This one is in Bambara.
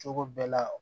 Cogo bɛɛ la